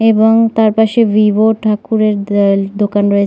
এবং তার পাশে ভিভো ঠাকুরের দাল দোকান রয়ে--